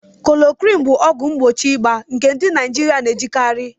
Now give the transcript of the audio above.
Klorokwin bụ ọgwụ mgbochi ịba nke ndị Naijiria na-ejikarị